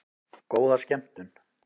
Góða skemmtun!